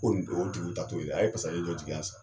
Ko n o tigiw ta t'o ye a ye pasaze do jigi yan san